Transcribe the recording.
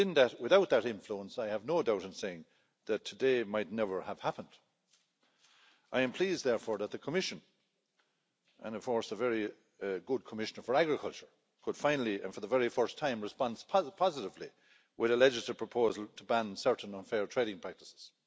Without that influence, I have no doubt in saying, today might never have happened. I am pleased therefore that the Commission and, of course, a very good Commissioner for Agriculture could finally, and for the first time, response positively with a legislative proposal to ban certain unfair trading practices.